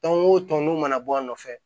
o tɔn n'u mana bɔ a nɔfɛ